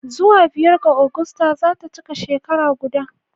Zuwa biyar ga Agusta za ta cika shekara guda